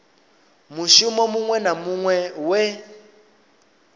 mushumo muṅwe na muṅwe we